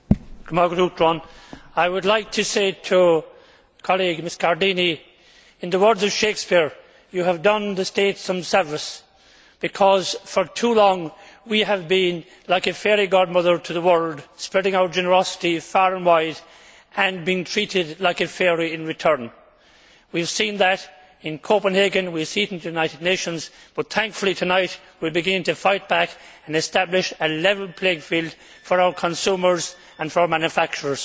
Mr President, I would like to say to my colleague, Mrs Muscardini, that in the words of Shakespeare you have done the state some service, because for too long we have been like a fairy godmother to the world, spreading our generosity far and wide, and being treated like a fairy in return. We have seen that in Copenhagen, and we see it in the United Nations, but thankfully tonight, we will begin to fight back and establish a level playing field for our consumers and for our manufacturers.